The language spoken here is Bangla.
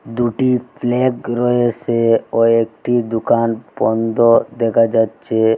দুটি ফ্ল্যাগ রয়েসে ও একটি দুকান বন্ধ দেখা যাচ্ছে।